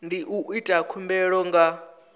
ndi u ita khumbelo nga